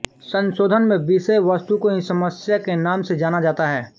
संशोधन में विषय वस्तु को ही समस्या के नाम से जाना जाता है